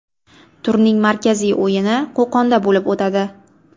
Turning markaziy o‘yini Qo‘qonda bo‘lib o‘tadi.